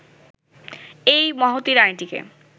এই মহতী রানিটিকে